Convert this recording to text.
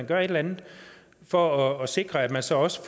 gøre et eller andet for at sikre at man så også